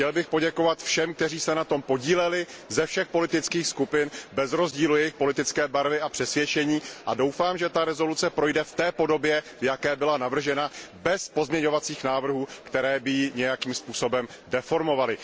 Chtěl bych poděkovat všem, kteří se na tom podíleli ze všech politických skupin bez rozdílu jejich politické barvy a přesvědčení, a doufám, že ta rezoluce projde v té podobě, v jaké byla navržena, bez pozměňovacích návrhů, které by ji nějakým způsobem deformovaly.